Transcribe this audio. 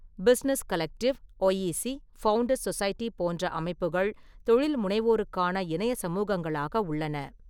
Business collective, YEC, founders society போன்ற அமைப்புகள் தொழில் முனைவோருக்கான இணையச் சமூகங்களாக உள்ளன.